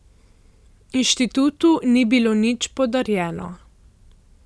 Inštitutu ni bilo nič podarjeno.